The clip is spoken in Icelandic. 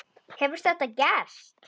Hefur þetta gerst?